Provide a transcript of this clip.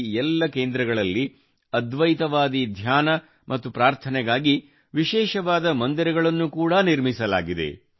ಈ ಎಲ್ಲಾ ಕೇಂದ್ರಗಳಲ್ಲಿ ಅದ್ವೈತವಾದಿ ಧ್ಯಾನ ಮತ್ತು ಪ್ರಾರ್ಥನೆಗಾಗಿ ವಿಶೇಷವಾದ ಮಂದಿರಗಳನ್ನು ಕೂಡಾ ನಿರ್ಮಿಸಲಾಗಿದೆ